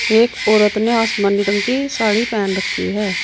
एक औरत ने आसमानी रंग की साड़ी पहन रखी है।